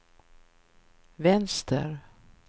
vänster